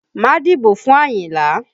Má dìbò fún Àyìnlá!